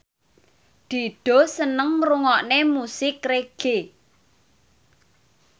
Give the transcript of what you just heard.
Dido seneng ngrungokne musik reggae